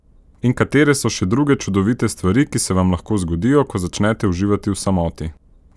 In katere so še druge čudovite stvari, ki se vam lahko zgodijo, ko začnete uživati v samoti?